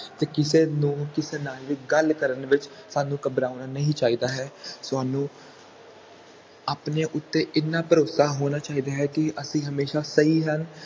ਤੇ ਕਿਸੇ ਨੂੰ ਕਿਸੇ ਨਾਲ ਵੀ ਗੱਲ ਕਰਨ ਵਿਚ ਸਾਨੂੰ ਘਬਰਾਉਣਾ ਨਹੀਂ ਚਾਹੀਦਾ ਹੈ ਤੁਹਾਨੂੰ ਆਪਣੇ ਉੱਤੇ ਹਨ ਭਰੋਸਾ ਹੋਣਾ ਚਾਹੀਦਾ ਹੈ ਕਿ ਅਸੀਂ ਹਮੇਸ਼ਾ ਸਹੀ ਹਨ